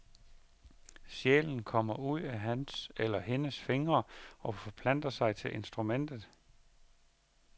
Sjælen kommer ud af hans eller hendes fingre og forplanter sig til instrumentet.